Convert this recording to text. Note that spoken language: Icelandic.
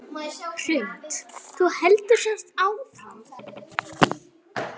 Hrund: Þú heldur samt áfram?